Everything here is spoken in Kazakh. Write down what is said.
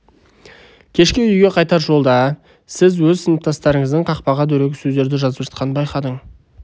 кешке үйге қайтар жолда сіз өз сыныптасыңыздың қақпаға дөрекі сөздерді жазып жатқанын байқадың